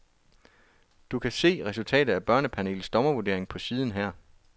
Du kan se resultatet af børnepanelets dommervurdering på siden her.